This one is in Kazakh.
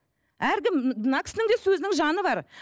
әркім мына кісінің де сөзінің жаны бар